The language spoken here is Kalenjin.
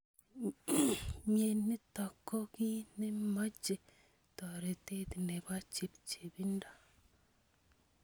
Mnyenitok ko ki nemoche toretet nebo chepchepindo.